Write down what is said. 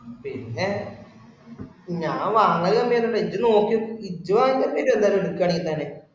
പിന്നെ ഞാൻ വാങ്ങല് തന്നെയാണ് ഇജ്ജ് നോക്കി നോക്കിൻ. ഇജ്ജ് വാങ്ങിച്ചോ എല്ലാരും എടുക്കുവാണെങ്കിൽ തന്നെ